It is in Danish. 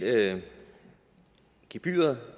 gebyret